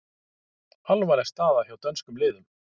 Alvarleg staða hjá dönskum liðum